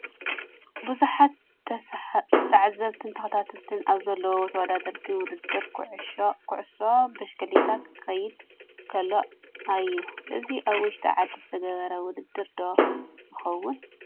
ብዙሓት ተዓዘብትን ተኸታተልትን ኣብ ዘለውዎ ተወዳደርቲ ውድድር ኩዕሶ ብሽክሌታ ክካየድ ከለው እዩ፡፡ እዚ ኣብ ውሽጢ ዓዲ ዝተገብረ ውድድር ዶ ይኸውን?